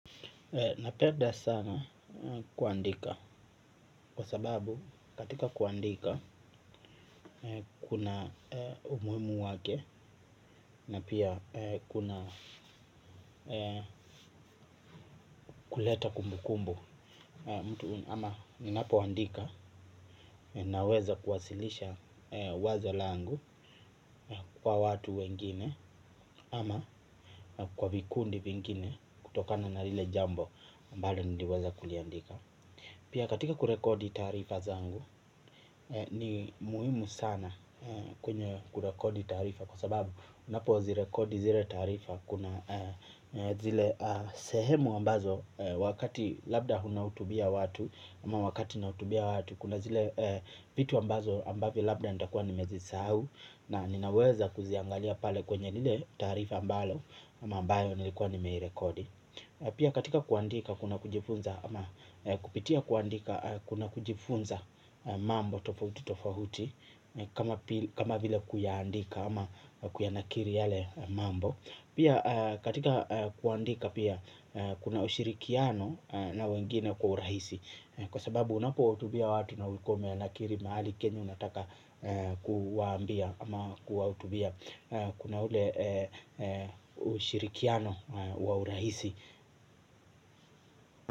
Napeda sana kuandika kwa sababu katika kuandika kuna umuimu wake na pia kuna kuleta kumbu kumbu. Ama ninapoandika naweza kuwasilisha wazo langu kwa watu wengine ama kwa vikundi pengine kutokana na lile jambo mbalo niliweza kuliandika. Pia katika kurekodi taarifa zangu ni muhimu sana kwenye kurekodi tarifa kwa sababu unapo zirekodi zire taarifa kuna zile sehemu ambazo wakati labda hunahutubia watu ama wakati nautubia watu kuna zile pitu ambazo ambavyo labda nita kuwa nimezi sahau na ninaweza kuziangalia pale kwenye nile tarifa mbalo ama ambayo nilikuwa nimeirekodi. Pia katika kuandika kuna kujifunza ama kupitia kuandika kuna kujifunza mambo tofauti tofauti kama vile kuyaandika ama kuyanakiri yale mambo. Katika kwandika pia kuna ushirikiano na wengine kwa urahisi kwa sabau unapohutubia watu na ulikuwa umeandika mahali kenye unataka kuwahutubia. Kuna ule ushirikiano wa urahisi.